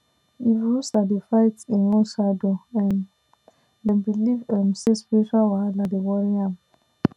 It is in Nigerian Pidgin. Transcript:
if rooster dey fight im own shadow um dem believe um say spiritual wahala dey worry am